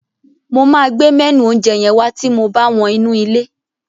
Mo máa gbé mẹ́nù oúnjẹ yẹn wá ti mo bá wọ́n inú ilé.